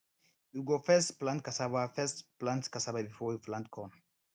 we go first plant casava first plant casava before we plant corn